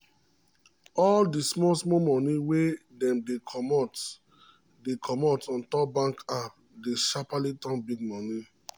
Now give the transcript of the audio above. all d small small money wey dem dey comot dey comot ontop bank app dey sharpaly turn big money